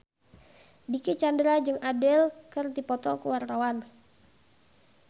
Dicky Chandra jeung Adele keur dipoto ku wartawan